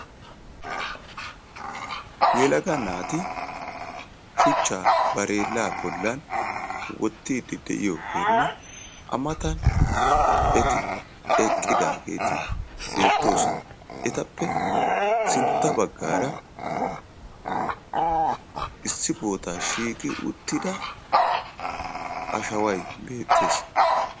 Yelaga naati shuchcha bareella bollan wottiidi de'iyoogenne a matan eti eqqidaagiti beettoosona; etappe sintta baggaara shiiqidi uttida ashaway beettes.